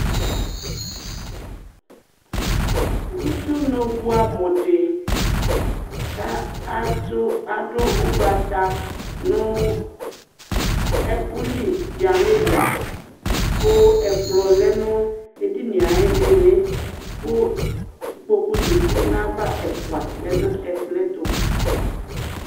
ʊdʊnʊ bʊɛmʊ dɩ kɑdʊ ʊgbɑtɑ nʊ ɛkʊlɩ ɣɑ nʊ ɛya ƙʊ ɛƙplɔ lɛ nʊ ɛdɩnɣɛ ɑɣɩlɩlɩ kʊ ɩƙƥɔƙʊʒɑtɩ ɛƒʊɑ lɛŋʊ ɛƥƙlɔtʊ